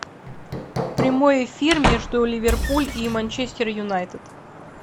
прямой эфир между ливерпуль и манчестер юнайтед